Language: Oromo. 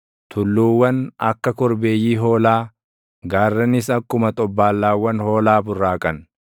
tulluuwwan akka korbeeyyii hoolaa, gaarranis akkuma xobbaallaawwan hoolaa burraaqan.